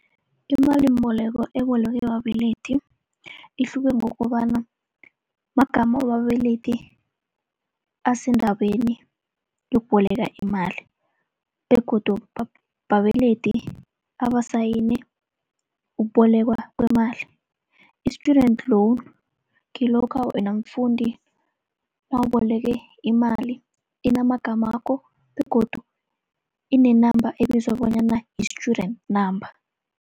Imalimboleko ebolekwe babelethi, ihluke ngokobana magama wababelethi asendaweni yokuboleka imali, begodu babelethi abasayine ukubolekwa kwemali. I-student loan kilokha wena mfundi nawuboleke imali inama gamakho, begodu ine-number ebizwa bonyana yi-student number.